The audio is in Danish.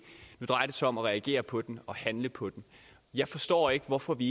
nu drejer det sig om at reagere på den og handle på den jeg forstår ikke hvorfor vi